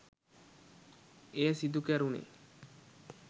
එය සිදු කැරුණේ